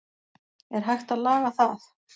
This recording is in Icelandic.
er hægt að laga það